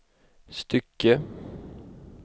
stycke